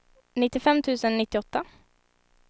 nittiofem tusen nittioåtta